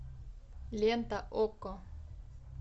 лента окко